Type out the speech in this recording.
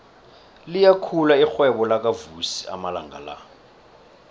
liyakhula irhwebo lakavusi amalanga la